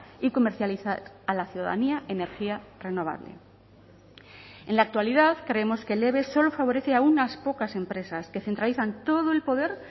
y comercializar a la ciudadanía energía renovable en la actualidad creemos que el eve solo favorece a unas pocas empresas que centralizan todo el poder